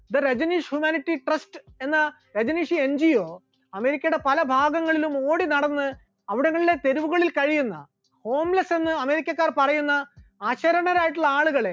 the Rajneesh humanity trust the rajaneesh humanity trust എന്ന Rajneesh NGO, അമേരിക്കയുടെ പല ഭാഗങ്ങളിലും ഓടിനടന്ന് അവിടങ്ങളിലെ തെരുവുകളിൽ കഴിയുന്ന homeless എന്ന അമേരിക്കക്കാർ പറയുന്ന അശരണരായിട്ടുള്ള ആളുകളെ